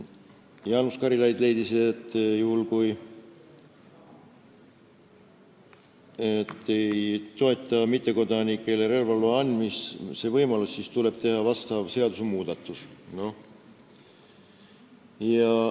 Jaanus Karilaid leidis, et juhul, kui ei toetata mittekodanikele relvaloa andmise võimalust, siis tuleb teha seadusmuudatus.